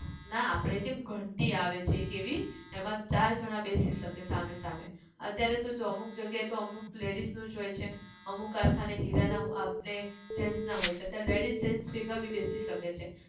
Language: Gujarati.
ના આપણે કેમ ઘંટી આવે છે એક એવી એમાં ચાર જના બેસી શકે સામે સામે અત્યારે તો જો અમુક જગ્યાએ તો અમુક ladies નું જ હોય છે અમુક કારખાને હીરા ના આપને gents ના હોય છે ladies gents ભેગા બી બેસી શકે છે